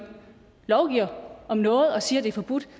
lovgiver om noget og siger det er forbudt